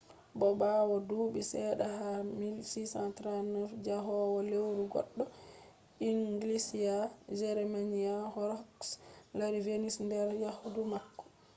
bo ɓawo duuɓi seɗɗa ha 1639 njahowo lewru goɗɗo inglisiya jeremiah horrocks lari venus nder yahdu mako